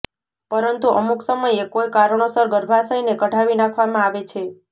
પરંતુ અમુક સમયે કોઇ કારણોસર ગર્ભાશયને કઢાવી નાખવામાં આવે છે